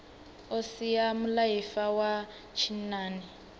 o sia mulaifa wa tshinnani